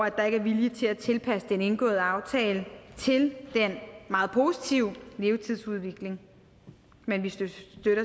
at der ikke er vilje til at tilpasse den indgåede aftale til den meget positive levetidsudvikling men vi støtter